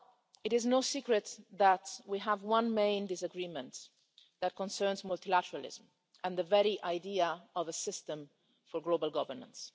It is no secret that we have one main disagreement, which concerns multilateralism and the very idea of a system for global governance.